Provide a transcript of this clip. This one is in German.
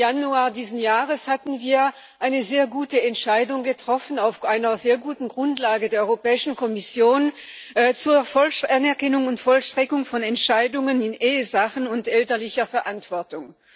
18. Januar diesen Jahres haben wir eine sehr gute Entscheidung getroffen, auf einer sehr guten Grundlage der Europäischen Kommission zur Anerkennung und Vollstreckung von Entscheidungen in Ehesachen und elterlicher Verantwortung.